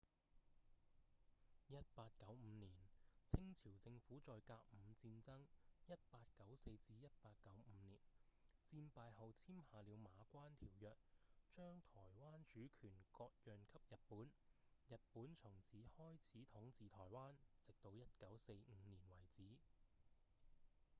1895年清朝政府在甲午戰爭 1894-1895 年戰敗後簽下了《馬關條約》將臺灣主權割讓給日本日本從此開始統治臺灣直到1945年為止